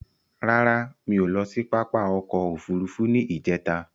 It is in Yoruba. Rara, mi o lọ sí pápá òkò òfúrùfú ní ijẹ̀ta